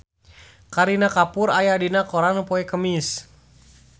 Kareena Kapoor aya dina koran poe Kemis